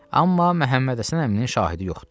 Amma Məhəmməd Həsən əminin şahidi yoxdur.